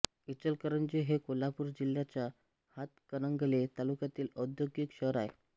इचलकरंजी हे कोल्हापूर जिल्ह्याच्या हातकणंगले तालुक्यातील औद्योगिक शहर आहे